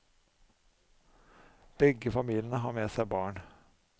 Begge familiene har med seg barn.